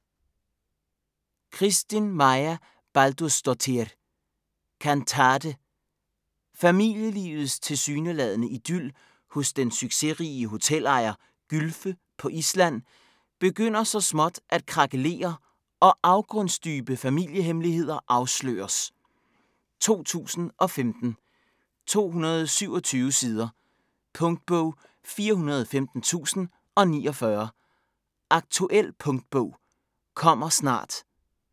Kristín Marja Baldursdóttir: Kantate Familielivets tilsyneladende idyl hos den succesrige hotelejer Gylfe på Island begynder så småt at krakelere og afgrundsdybe familiehemmeligheder afsløres. 2015, 227 sider. Punktbog 415049 Aktuel punktbog - kommer snart